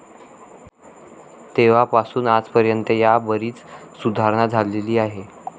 तेव्हा पासून आज पर्यंत यात बरीच सुधारणा झालेली आहे.